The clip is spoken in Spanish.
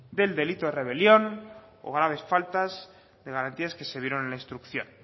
del delito de rebelión o graves faltas de garantías que se dieron en la instrucción